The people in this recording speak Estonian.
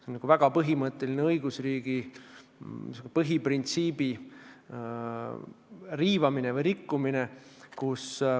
See on väga põhimõtteline õigusriigi põhiprintsiibi riivamine või rikkumine.